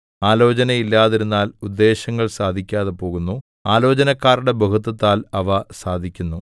ആലോചന ഇല്ലാതിരുന്നാൽ ഉദ്ദേശ്യങ്ങൾ സാധിക്കാതെ പോകുന്നു ആലോചനക്കാരുടെ ബഹുത്വത്താൽ അവ സാധിക്കുന്നു